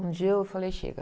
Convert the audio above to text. Um dia eu falei, chega.